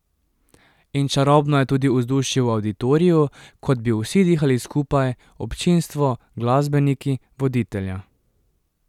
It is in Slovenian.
In čarobno je tudi vzdušje v Avditoriju, kot bi vsi dihali skupaj, občinstvo, glasbeniki, voditelja.